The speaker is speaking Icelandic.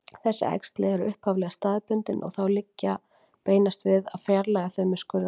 Þessi æxli eru upphaflega staðbundin og þá liggur beinast við að fjarlægja þau með skurðaðgerð.